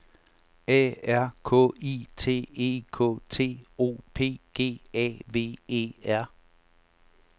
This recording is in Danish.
A R K I T E K T O P G A V E R